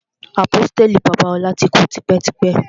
Àpọ́stélì Babalola ti kú tipẹ́ tipẹ́.